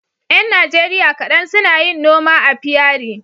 Yan Najeriya kaɗan suna yin noma apiary